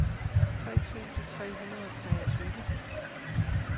tre tusind tre hundrede og treogtyve